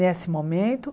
Nesse momento.